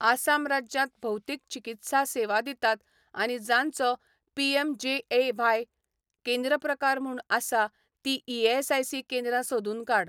आसाम राज्यांत भौतिक चिकित्सा सेवा दितात आनी जांचो पीएमजेएव्हाय केंद्र प्रकार म्हूण आसा ती ईएसआयसी केंद्रां सोदून काड.